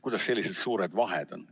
Kuidas meil sellised suured vahed on?